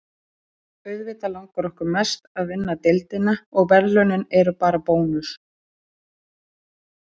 Auðvitað langar okkur mest að vinna deildina, og verðlaunin eru bara bónus